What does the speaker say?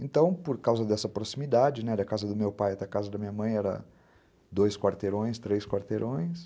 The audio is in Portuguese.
Então, por causa dessa proximidade, né, da casa do meu pai até a casa da minha mãe, eram dois quarteirões, três quarteirões.